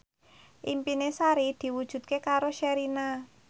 impine Sari diwujudke karo Sherina